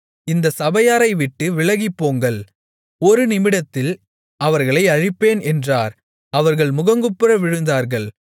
இந்தச் சபையாரை விட்டு விலகிப்போங்கள் ஒரு நிமிடத்தில் அவர்களை அழிப்பேன் என்றார் அவர்கள் முகங்குப்புற விழுந்தார்கள்